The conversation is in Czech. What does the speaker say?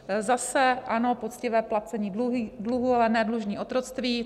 Zase: ano, poctivé placení dluhu, ale ne dlužní otroctví.